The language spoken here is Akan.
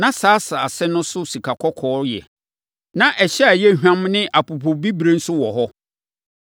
Na saa asase no so sikakɔkɔɔ yɛ. Na ɛhyɛ a ɛyɛ hwam ne apopobibirieboɔ nso wɔ hɔ.